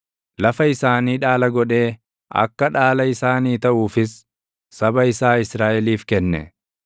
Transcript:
lafa isaanii dhaala godhee akka dhaala isaanii taʼuufis saba isaa Israaʼeliif kenne.